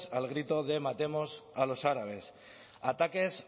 al grito de matemos a los árabes ataques